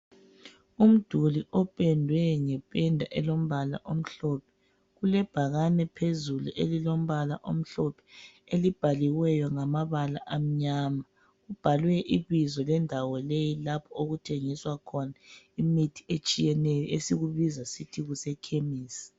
Umduli opendwe ngependa elombala omhlophe kulebhakane phezulu elilombala omhlophe, elibhaliweyo ngamabala amnyama kubhalwe ibizo lendawo leyi lapho okuthengiswa khona imithi etshiyeneyo esikubiza sisithi kuse khemesi.